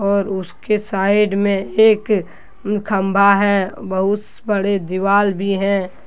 और उसके साइड में एक उम खंबा है बहुत बड़े दीवाल भी हैं।